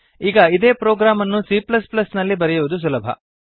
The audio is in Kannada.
ಈಗ ಇದೇ ಪ್ರೊಗ್ರಾಮ್ ಅನ್ನು c ನಲ್ಲಿ ಬರೆಯುವುದು ಸುಲಭ